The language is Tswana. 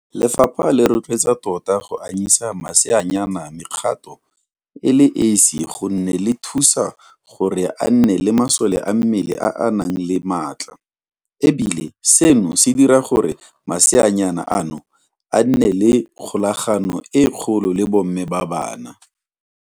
Lefapha le rotloetsa tota go anyisa maseanyana mekgato e le esi gonne le thusa gore a nne le masole a mmele a a nang le maatla, e bile seno se dira gore maseanyana ano a nne le kgolagano e kgolo le bomme ba bona.